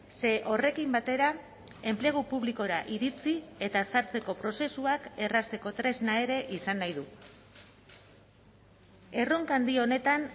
ze horrekin batera enplegu publikora iritsi eta ezartzeko prozesuak errazteko tresna ere izan nahi du erronka handi honetan